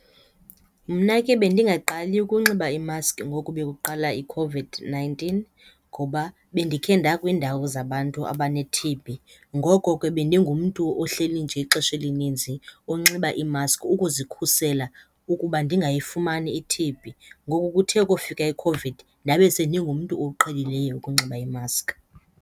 Mna ke bendingaqali ukunxiba imaski ngoku bokuqala iCOVID-nineteen ngoba bendikhe nakwiindawo zabantu abane-T_B. Ngoko ke bendingumntu ohleli nje ixesha elininzi unxiba iimaski ukuzikhusela ukuba ndingayifumani i-T_B. Ngoku kuthe kofika iCOVID ndabe sendingumntu oqhelileyo ukunxiba iimaski.